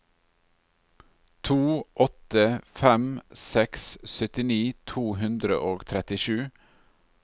to åtte fem seks syttini to hundre og trettisju